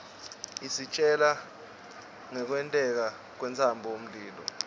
isitjela ngkwenteka kwentsaba mlilo